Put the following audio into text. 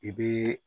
I bɛ